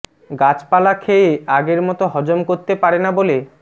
গাছপালা খেয়ে আগের মতো হজম করতে পারে না বলে